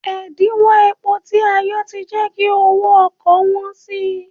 Ẹ̀díńwó epo tí a yọ ti jẹ́ kí owó ọkọ̀ wọ́n si.